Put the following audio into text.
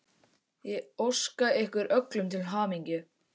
Ég óska ykkur öllum til hamingju.